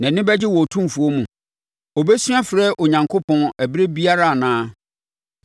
Nʼani bɛgye wɔ Otumfoɔ mu? Ɔbɛsu afrɛ Onyankopɔn ɛberɛ biara anaa?